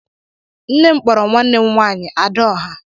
Nne m kpọrọ nwanne m nwaanyị "Ada ọhà"